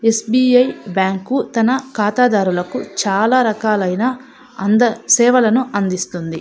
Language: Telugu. ఎ. స్బి. ఐ. బ్యాంకు తన ఖాతాదారులకు చాల రకాలు అయిన అంద సేవలను అందిస్తుంది.